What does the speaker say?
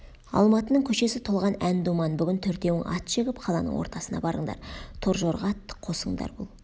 алматының көшесі толған ән думан бүгін төртеуің ат жегіп қаланың ортасына барыңдар торжорға атты қосыңдар бұл